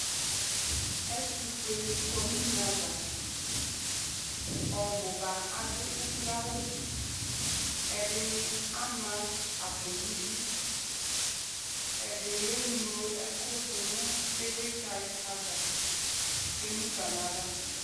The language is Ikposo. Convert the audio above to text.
Ɛtʋfuenɩ kɔ nʋ une ava Ɔbʋ ba adʋ ukloawʋ Ɛdɩnɩ ama akpo nʋ idu Ɛdɩnɩ eŋlo ɛkʋ dʋ nʋ ɩvlɩtsɛ ava kʋ emu fa nʋ ava